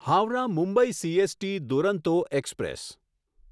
Howrah Mumbai CST Duronto express